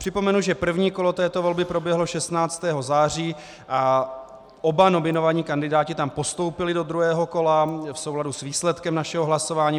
Připomenu, že první kolo této volby proběhlo 16. září a oba nominovaní kandidáti tam postoupili do druhého kola v souladu s výsledkem našeho hlasování.